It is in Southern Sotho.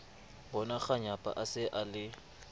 bonakganyapa a se a le